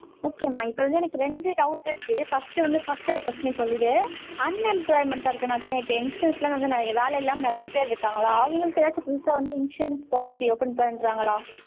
okay மா. இப்ப வந்து எனக்கு ரெண்டு doubt இருக்கு. first வந்து first ஒரு first நீ சொல்லிடு. unemployment ஆ இருக்குற நதி, இப்ப youngsters எல்லாம் வந்து என் வேலை இல்லாம நிறைய பேர் இருக்காங்களா? அவங்களுக்கு ஏதாச்சும் புதுசா வந்து insurance policy open பண்றாங்களா